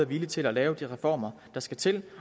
villig til at lave de reformer der skal til